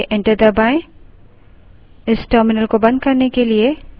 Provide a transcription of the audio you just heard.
इस terminal को बंद करने के लिए exit type करें